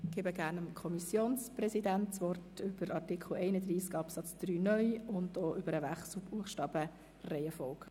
Gerne erteile ich dem Kommissionspräsidenten das Wort zu Artikel 31 Absatz 3 (neu) sowie zum Wechsel der Buchstabenreihenfolge.